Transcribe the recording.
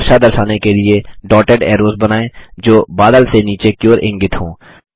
वर्षा दर्शाने के लिए डॉटेड ऐरोज़ बनाएँ जो बादल से नीचे की ओर इंगित हों